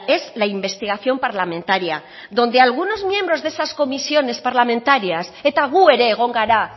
es la investigación parlamentaria donde algunos miembros de esas comisiones parlamentarias eta gu ere egon gara